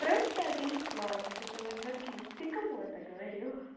просто одно слова вот это вот заткнись ты кому это говорил